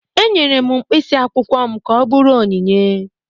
Enyere m mkpịsị akwụkwọ m ka ọ bụrụ onyinye